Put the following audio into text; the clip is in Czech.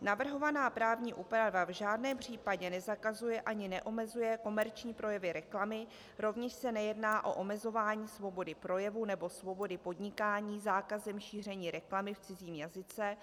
Navrhovaná právní úprava v žádném případě nezakazuje ani neomezuje komerční projevy reklamy, rovněž se nejedná o omezování svobody projevu nebo svobody podnikání zákazem šíření reklamy v cizím jazyce,